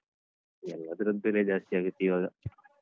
ಎಲ್ಲದರದ್ದ್ ಬೆಲೆ ಜಾಸ್ತಿಯಾಗತ್ತೀವಾಗ.